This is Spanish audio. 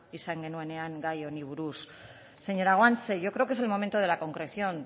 izan genuenean gai honi buruz señora guanche yo creo que es momento de la concreción